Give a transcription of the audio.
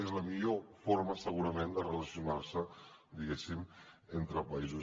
és la millor forma segurament de relacionar se diguéssim entre països